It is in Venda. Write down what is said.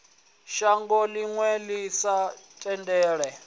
shango ḽine ḽi sa tendele